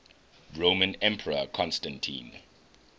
roman emperor constantine